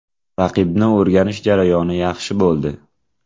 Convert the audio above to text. Raqibni o‘rganish jarayoni yaxshi bo‘ldi.